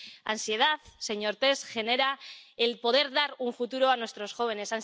Ansiedad, señor Tertsch, genera el poder dar un futuro a nuestros jóvenes